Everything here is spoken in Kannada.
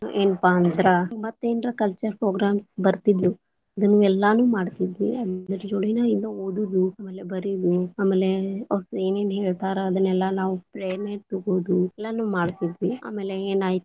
ಏನಪಾ ಅಂದ್ರ ಮತ್ತ ಏನಾರ cultural program ಬರತಿದ್ರು ಅದನ್ನು ಎಲ್ಲಾ ಮಾಡ್ತಿದ್ವಿ, ಅದ್ರ ಜೋಡಿನ ಓದುದ ಆಮೇಲೆ ಬರಿಯುದು ಆಮೇಲೆ ಅವ್ರ ಏನೇನ ಹೇಳ್ತಾರಾ ಅದನ್ನೆಲ್ಲಾ ನಾವು ಪ್ರೇರಣೆ ತಗೊಳುದ ಎಲ್ಲಾನು ಮಾಡ್ತಿದ್ವಿ, ಆಮೇಲೆ ಏನಾಯ್ತ.